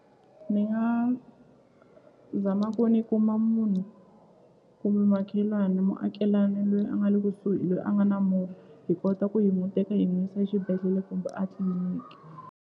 Ni nga zama ku ni kuma munhu kumbe makhelwani muakelani loyi a nga le kusuhi loyi a nga na movha hi kota ku hi n'wu teka hi n'wi yisa exibedhlele kumbe a tliliniki.